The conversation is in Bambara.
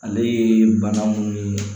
Ale ye bana munnu ye